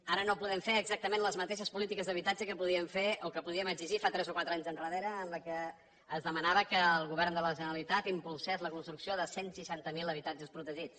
ara no podem fer exactament les mateixes polítiques d’habitatge que podíem fer o que podíem exigir fa tres o quatre anys endarrere en què es demanava que el govern de la generalitat impulsés la construcció de cent i seixanta miler habitatges protegits